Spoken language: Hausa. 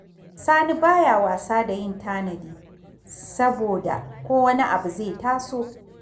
Sani ba ya wasa da yin tanadi, saboda ko wani abu zai taso